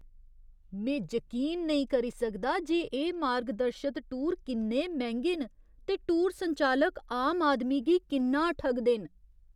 में जकीन नेईं करी सकदा जे एह् मार्गदर्शत टूर किन्ने मैंह्‌गे न ते टूर संचालक आम आदमी गी किन्ना ठगदे न।